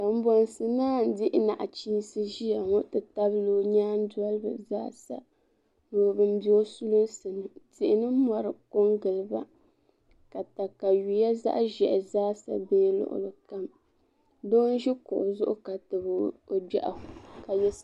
Kombonsi naa n dihi nachiinsi ʒiya ŋo ti tabili o nyaan dolibi zaa sa ni bin bɛ o sulinsi ni tihi ni mori ko n giliba ka katawiya zaɣ ʒiɛhi zaa sa deei luɣuli kam doo n ʒi kuɣu zuɣu ka tabi o gbiɣu ka yɛ